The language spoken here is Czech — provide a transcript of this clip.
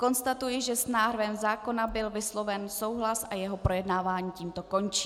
Konstatuji, že s návrhem zákona byl vysloven souhlas a jeho projednávání tímto končí.